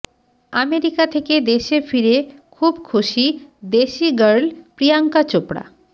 America থেকে দেশে ফিরে খুব খুশি দেশি গার্ল প্রিয়াঙ্কা চোপড়া